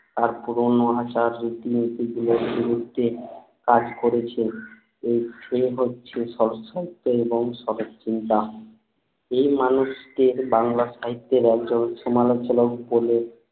বিরুদ্ধে কাজ করেছে এই লেখক ছিলেন সাহিত্য এবং সদত চিন্তা এই মানুষটির বাংলা সাহিত্যে একজন সমালোচক বলে